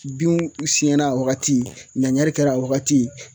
Binw siyɛnna wagati ɲaɲari kɛra a wagati